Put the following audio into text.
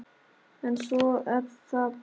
En svona er það bara.